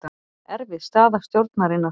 Erfið staða stjórnarinnar